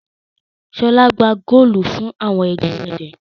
Ṣọ́lá gbá góólù fún àwọn ẹgbẹ́ rẹ̀?